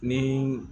Ni